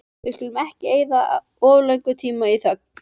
Við skulum ekki eyða of löngum tíma í þögn.